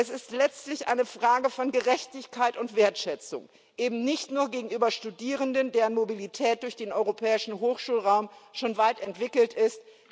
Es ist letztlich eine Frage von Gerechtigkeit und Wertschätzung eben nicht nur gegenüber Studierenden, deren Mobilität durch den Europäischen Hochschulraum schon weit entwickelt ist.